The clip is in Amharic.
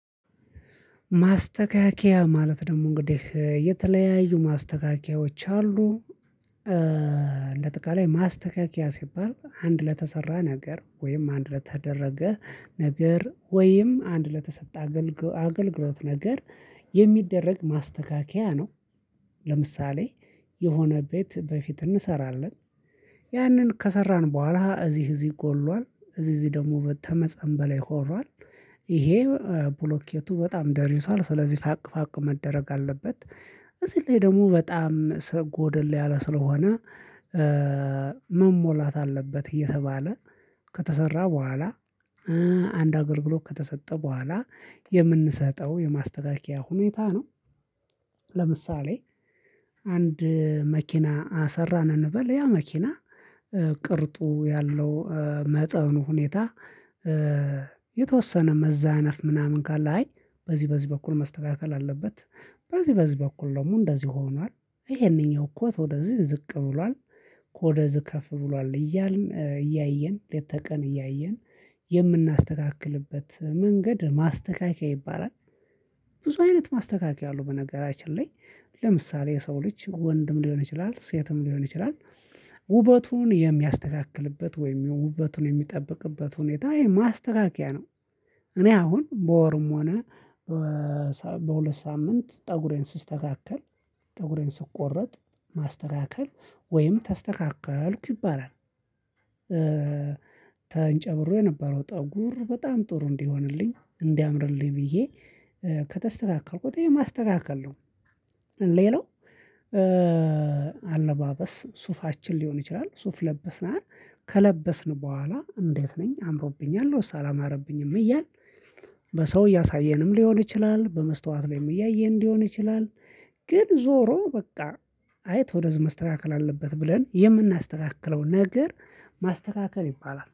ማስተካከያ ማለት ደግሞ እንግዲህ የተለያዩ ማስተካከያዎች አሉ። እንደ አጠቃላይ ማስተካከያ ሲባል አንድ ለተሰራ ነገር ወይም አንድ ለተደረገ ነገር ወይም አንድ ለተሰጠ አገልግሎት ነገር የሚደረግ ማስተካከያ ነው። ለምሳሌ የሆነ ቤት በፊት እንሰራለን። ያንን ከሰራን በኋላ እዚህ እዚህ ጎሏል እዚህ እዚህ ደግሞ ተመፀን በላይ ሆኗል። ይሄ ብሎኬቱ በጣም ደርጅቷል ስለዚህ ፋቅ ፋቅ መደረግ አለበት። እዚህ ላይ ደግሞ በጣም ስለ ጎደል ያለ ስለሆነ። መሞላት አለበት እየተባለ ከተሰራ በኋላ። አንድ አገልግሎት ከተሰጠ በኋላ የምንሰጠው የማስተካከያ ሁኔታ ነው። ለምሳሌ አንድ መኪና አሰራን እንበል ያ መኪና ቅርጡ ያለው መጠኑ ሁኔታ። የተወሰነ መዛነፍ ምናምን ካለ አይ በዚህ በዚህ በኩል መስተካከል አለበት። በዚህ በዚህ በኩል ደግሞ እንደዚህ ሆኗል ይሄንኛው እኮ ወደዚህ ዝቅ ብሏል። ከወደዚህ ከፍ ብሏል እያልን እያየን ሌተ ቀን እያየን የምናስተካክልበት መንገድ ማስተካከያ ይባላል። ብዙ አይነት ማስተካከያ አለው በነገራችን ላይ። ለምሳሌ የሰው ልጅ ወንድም ሊሆን ይችላል ሴትም ሊሆን ይችላል። ውበቱን የሚያስተካክልበት ወይም የውበቱን የሚጠብቅበት ሁኔታ ይሄ ማስተካከያ ነው። እኔ አሁን በወርም ሆነ በሁለት ሳምንት ፀጉሬን ስስተካከል ፀጉሬን ስቆረጥ ማስተካከል ወይም ተስተካከልኩ ይባላል። ተንጨብሮ የነበረው ጠጉር በጣም ጥሩ እንዲሆንልኝ እንዲያምርልኝ ብዬ ከተስተካከልኩት ይሄ ማስተካከል ነው። ሌላው አለባበስ ሱፋችን ሊሆን ይችላል ሱፍ ለብሰናል። ከለበስን በኋላ እንዴት ነኝ አምሮብኛል አላማረብኝም እያል? በሰው እያሳየንም ሊሆን ይችላል በመስታወት ላይም እያየን ሊሆን ይችላል። ግን ዞሮ በቃ አይቶ ወደዚህ መስተካከል አለበት ብለን የምናስተካክለው ነገር ማስተካከል ይባላል